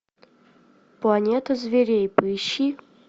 планета зверей поищи